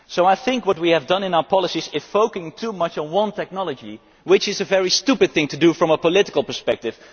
So I think that what we have done in our policies is focus too much on one technology, which is a very stupid thing to do from a political perspective.